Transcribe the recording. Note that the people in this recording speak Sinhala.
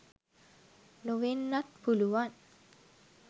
නොවෙන්නත් පුළුවන්.